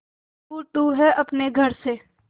पर दूर तू है अपने घर से